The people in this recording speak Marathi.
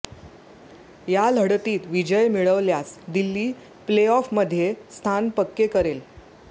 या लढतीत विजय मिळवल्यास दिल्ली प्ले ऑफमध्ये स्थान पक्के करेल